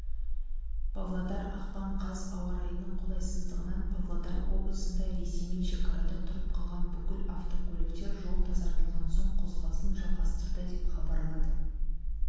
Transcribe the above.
павлодар ақпан қаз ауа райының қолайсыздығынан павлодар облысында ресеймен шекарада тұрып қалған бүкіл автокөліктер жол тазартылған соң қозғалысын жалғастырды деп хабарлады